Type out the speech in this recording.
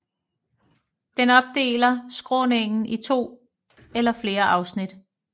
Den opdeler skråningen i to eller flere afsnit